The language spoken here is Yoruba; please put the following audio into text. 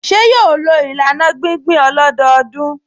Ṣé yóò lo ìlànà gbíngbìn ọlọ́dọọdún?